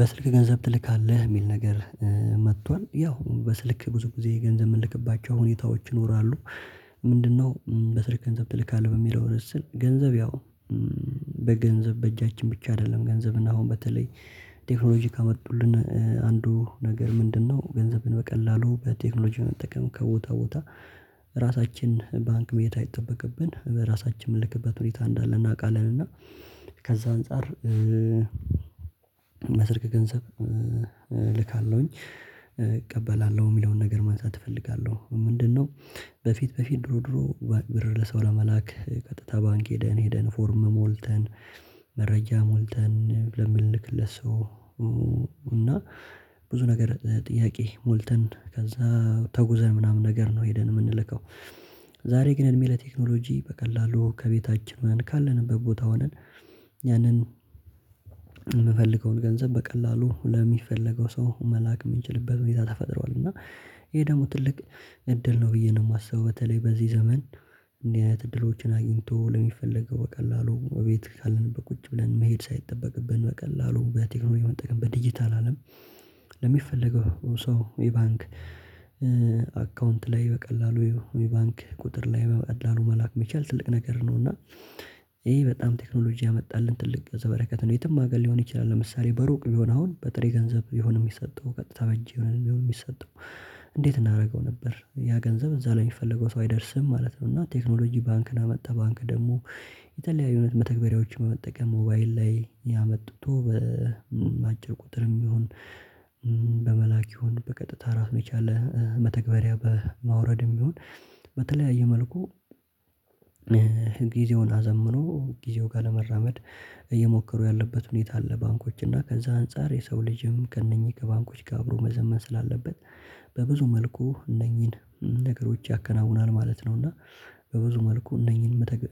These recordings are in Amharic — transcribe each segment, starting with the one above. በስልክ ገንዘብ ትልካለህ የሚል ነገር መጥቷል። ያው በስልክ ብዙ ጊዜ ገንዘብ የምንልክባቸው ሁኔታዎች ይኖራሉ። ምንድነው በስልክ ገንዘብ ትልካለህ በሚለው ርዕስ ስር። ገንዘብ ያው በገንዘብ በእጃችን ብቻ አይደለም ገንዘብ እና አሁን በተለይ ቴክኖሎጂ ካመጡልን አንዱ ነገር ምንድነው፣ ገንዘብን በቀላሉ በቴክኖሎጂ መጠቀም ከቦታ ቦታ ራሳችን ባንክ መሄድ ሳይጠበቅብን በራሳችን የምልክበት ሁኔታ እንዳለ እናውቃለን እና ከዛ አንፃር በስልክ ገንዘብ እልካለሁኝ፣ እቀበላለሁ የሚለውን ነገር ማንሳት እፈልጋለሁ። ምንድነው በፊት በፊት ድሮ ድሮ ብር ለሰው ለመላክ ቀጥታ ባንክ ሄደን ሄደን፣ ፎርም ሞልተን፣ መረጃ ሞልተን ለምንልክለት ለሰው እና ብዙ ነገር ጥያቄ ሞልተን፣ ከዛ ተጉዘን ምናምን ነገር ነው ሄደን የምንልከው። ዛሬ ግን እድሜ ለቴክኖሎጂ በቀላሉ ከቤታችን ሆነን ካለንበት ቦታ ሆነን ያንን የምፈልገውን ገንዘብ በቀላሉ ለሚፈለገው ሰው መላክ የምንችልበት ሁኔታ ተፈጥሯል እና ይሄ ደግሞ ትልቅ እድል ነው ብዬ ነው የማስበው። በተለይ በዚህ ዘመን እንዲህ አያት እድሎችን አግኝቶ ለሚፈለገው በቀላሉ እቤት ካለንበት ቁጭ ብለን መሄድ ሳይጠበቅብን በቀላሉ በቴክኖሎጂ መጠቀም በዲጂታል አለም ለሚፈለገው ሰው የባንክ አካውንት ላይ በቀላሉ የባንክ ቁጥር ላይ በቀላሉ መላክ መቻል ትልቅ ነገር ነው እና ይሄ በጣም ቴክኖሎጂ ያመጣልን ትልቅ ገጸ በረከት ነው የትም አገል ሊሆን ይችላል ለምሳሌ በሩቅ ቢሆን አሁን በጥሬ ገንዘብ ቢሆን የሚሰጠው ቀጥታ በእጄ የሚሆን የሚሰጠው እንዴት እናደርገው ነበር? ያ ገንዘብ እዛ ላይ የሚፈልገው ሰው አይደርስም ማለት ነው። እና ቴክኖሎጂ ባንክን አመጣ ባንክ ደግሞ የተለያዩ መተግበሪያዎችን በመጠቀም ሞባይል ላይ ያመጥቶ በአጭር ቁጥርም የሚሆን በመላክ ይሁን በቀጥታ ራስ የቻለ መተግበሪያ በማውረድም ይሁን በተለያየ መልኩ ጊዜውን አዘምኖ፣ ጊዜው ጋር ለመራመድ እየሞከሩ ያለበት ሁኔታ አለ ባንኮች እና ከዛ አንፃር የሰው ልጅም ከእነኚህ ከባንኮች ጋር አብሮ መዘመን ስላለበት በብዙ መልኩ እነኚህን ነገሮች ያከናውናል ማለት ነው እና በብዙ መልኩ እነኚህን መተግ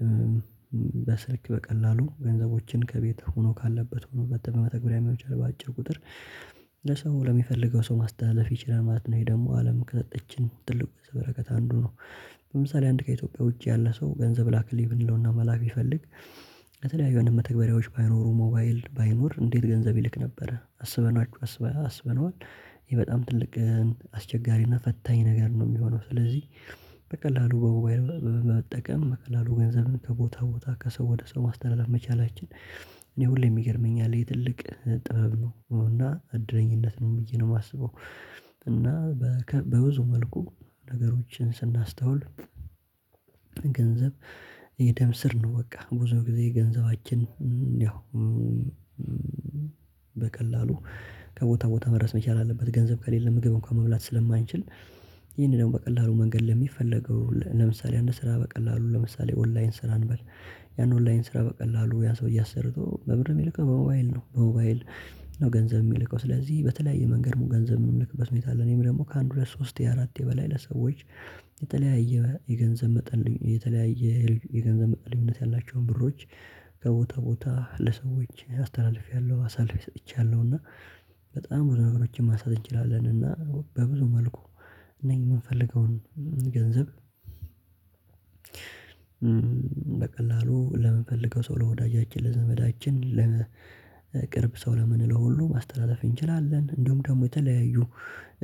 በስልክ በቀላሉ ገንዘቦችን ከቤት ሆኖ ካለበት ሆኖ በተግባር መተግበያ መቻል በአጭር ቁጥር ለሰው ለሚፈልገው ሰው ማስተላለፍ ይችላል ማለት ነው። ይሄ ደግሞ አለም ከይችን ትልቅ ገጽ በረከት አንዱ ነው ለምሳሌ አንድ ከኢትዮጵያ ውጪ ያለ ሰው ገንዘብ ላከልኝ ብንለውና መላክ ቢፈልግ ከተለያዩ የመተግበሪያዎች ባይኖሩ ሞባይል ባይኖር እንዴት ገንዘብ ይልክ ነበር? አስበናችሁ አስበናችሁ አስብነዋል ይሄ በጣም ትልቅ አስቸጋሪና ፈታኝ ነገር ነው የሚሆነው ስለዚህ በቀላሉ በሞባይል በበጠቀም በቀላሉ ገንዘብን ከቦታ ቦታ ከሰው ወደ ሰው ማስተላለፍ መቻላችን እኔ ሁሌም ይገርመኛል። ይሄ ትልቅ ጥበብ ነው እና እድለኝነት ነው ብዬ ነው የማስበው እና በብዙ መልኩ ነገሮችን ስናስተውል ገንዘብ የደም ስር ነው በቃ። ብዙ ጊዜ ገንዘባችን ያው በቀላሉ ከቦታ ቦታ መድረስ መቻል አለበት ገንዘብ ከሌለ ምግብ እንኳን መብላት ስለማንችል። ይሄንን ደግሞ በቀላሉ መንገድ ለሚፈለገው ለምሳሌ አንድ ስራ በቀላሉ ለምሳሌ ኦንላይን ስራ እንበል ያን ኦንላይን ስራ በቀላሉ ያ ሰው አሰርቶ በምንድ ነው የሚልከው? በሞባይል ነው በሞባይል ነው ገንዘብ የሚልከው ስለዚህ በተለያየ መንገድ ገንዘብ የምንልክበት ሁኔታ አለ። እኔም ደግሞ ከአንድ ሁለት ሶስት የአራት በላይ ለሰዎች የተለያየ የገንዘብ መጠን፣ የተለያየ የገንዘብ ልዩነት ያላቸውን ብሮች ከቦታ ቦታ ለሰዎች አስተላልፌያለሁ፣ አሳልፌ ሰጥቻለሁ እና በጣም ብዙ ነገሮችን ማሳለፍ እንችላለን እና በብዙ መልኩ እነዚህ የምንፈልገውን ገንዘብ በቀላሉ ለምንፈልገው ሰው ለወዳጃችን፣ ለዘመዳችን፣ ለቅርብ ሰው ለምነለው ሁሉ ማስተተላለፍ እንችላለን። እንዲሁም ደግሞ የተለያዩ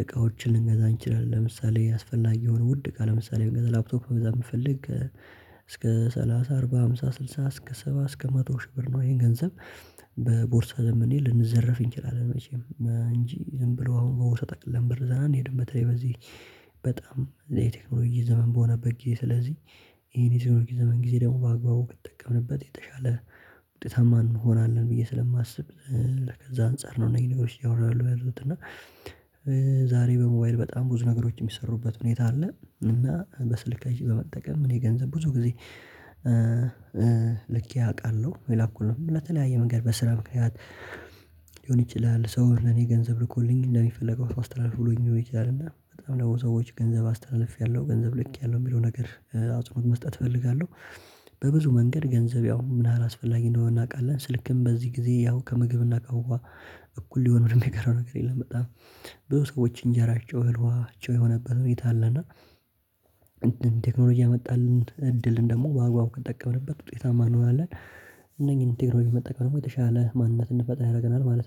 እቃዎችን ልንገዛ እንችላለን። ለምሳሌ አስፈላጊ የሆነ ውድ እቃ ለምሳሌ ብንገዛ ላፕቶክ ልንገዛ የምፈልግ እስከ ሰላሳ፣ አርባ፣ አምሳ፣ ስድሳ እስከ ሰባ እስከ መቶ ሺህ ብር ነው ይሄ ገንዘብ በቦርሳ ዘመኔ ልንዘረፍ እንችላለን። መቼም እንጂ ዝም ብሎ አሁን በቦርሳ ጠቅልለን ብር ይዘን አንሄድም በተለይ በዚህ በጣም የቴክኖሎጂ ዘመን በሆነበት ጊዜ ስለዚህ ይሄን የቴክኖሎጂ ዘመን ጊዜ ደግሞ በአግባቡ ከተጠቀምንበት የተሻለ ውጤታማ እንሆናለን ብዬ ስለማስብ ለከዛ አንፃር ነው እነዚህ ነገሮች ያወራሉ ያለሁት እና ዛሬ በሞባይል በጣም ብዙ ነገሮች የሚሰሩበት ሁኔታ አለ እና በስልካችን በመጠቀም እኔ ገንዘብ ብዙ ጊዜ ልኬ አውቃለሁ። የላኩልኝ ለተለያየ መንገድ በስራ ምክንያት ሊሆን ይችላል፣ ሰው ለኔ ገንዘብ ልኮልኝ እንደሚፈልገው ሰው አስተላልፍ ብሎኝ ሊሆን ይችላል እና በጣም ለሰዎች ገንዘብ አስተላልፌያለሁ፣ ገንዘብ ልክ ያለው የሚለው ነገር አጽኖት መስጠት እፈልጋለሁ በብዙ መንገድ ገንዘብ ያው ምን ያህል አስፈላጊ እንደሆነ እናውቃለን። ስልክም በዚህ ጊዜ ያው ከምግብን ከውሃ እኩል ለመሆን ምንን የቀረው ነገር የለም። በጣም ብዙ ሰዎች እንጀራቸው፣ እህል ውሃቸው የሆነበት ሁኔታ አለና ቴክኖሎጂ ያመጣልን እድልን ደግሞ በአግባቡ ከጠቀመንበት ውጤታማ እንሆናለን። እነኚህን ቴክኖሎጂ መጠቀም የተሻለ ማንነት እንድንፈጥር ያደርገናል ማለት ነው